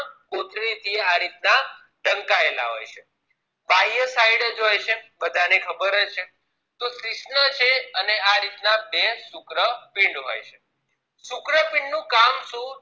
કોથળી થી આ રીત ના ચમકાયેલા હોય છે બાહ્ય side જ હોય છે બધાને ખબર જ છે તો શિશ્ન છે અને આ રીતના બે શુક્રપિન્ડ હોય છે શુક્રપિન્ડ નું કામ શું